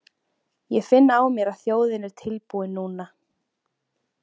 Ég finn á mér að þjóðin er tilbúin núna.